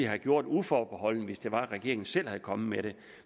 have gjort uforbeholdent hvis det var at regeringen selv var kommet med det